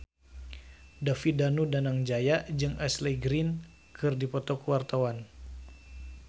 David Danu Danangjaya jeung Ashley Greene keur dipoto ku wartawan